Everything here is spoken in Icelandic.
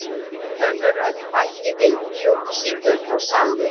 Önnur rödd bætti við upplýsingum og sagði